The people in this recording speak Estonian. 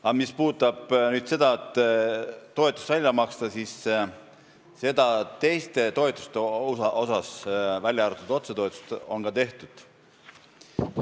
Aga mis puutub toetuste väljamaksmisse, siis seda on ka tehtud, v.a, jah, otsetoetused.